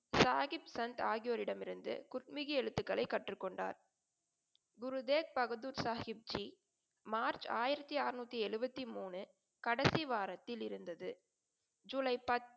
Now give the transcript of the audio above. சாகிப்சந்த் ஆகியோரிடமிருந்து குர்த்மிகி எழுத்துகளை கற்றுக்கொண்டார். குரு தேக் பகதூர் சாஹிப்ஜி, மார்ச் ஆயிரத்தி அறநூத்தி எழுபத்தி மூனு, கடைசி வாரத்தில் இருந்தது. ஜூலை,